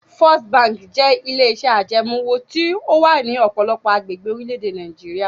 First Bank jẹ́ ilé-iṣẹ́ ajẹmoówò tí ó wà ní ọ̀pọ̀lọpọ̀ agbègbè orílẹ̀-èdè Nàìjíríà.